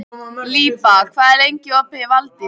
Líba, hvað er lengi opið í Valdís?